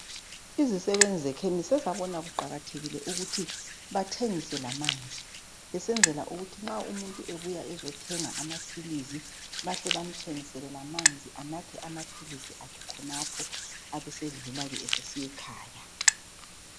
Izisebenzi zekhemisi sezakubona kuqakathekile ukuthi bathengise lamanzi besenzela ukuthi nxa umuntu ebuya ezithenga amaphilisi baahle bamthengisele lamanzi ahle anathe lamaphilisi akhe khonapho ebesedlula ke esiya ekhaya.